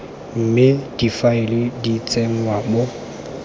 mme difaele di tsenngwa mo